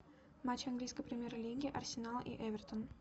матч английской премьер лиги арсенал и эвертон